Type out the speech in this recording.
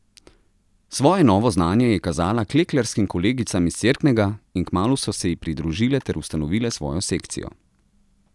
Svoje novo znanje je kazala klekljarskim kolegicam iz Cerknega in kmalu so se ji pridružile ter ustanovile svojo sekcijo.